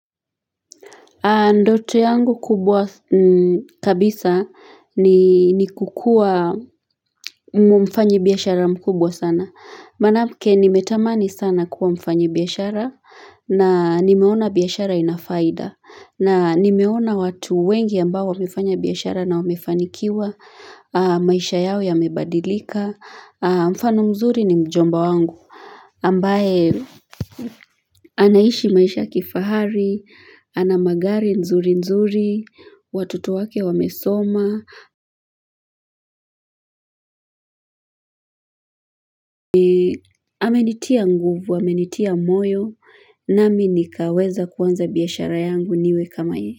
Ndoto yangu kubwa kabisa ni ni kukua mfanyi biashara mkubwa sana. Manake nimetamani sana kuwa mfanyi biashara na nimeona biashara inafaida. Na nimeona watu wengi ambao wamefanya biashara na wamefanikiwa maisha yao yamebadilika. Mfano mzuri ni mjomba wangu. Ambaye anaishi maisha kifahari, ana magari nzuri nzuri, watoto wake wamesoma, amenitia nguvu, amenitia moyo, nami nikaweza kuanza biashara yangu niwe kama yeye.